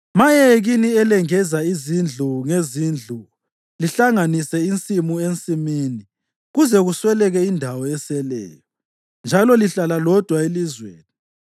Maye kini elengeza izindlu ngezindlu lihlanganise insimu ensimini kuze kusweleke indawo eseleyo, njalo lihlala lodwa elizweni.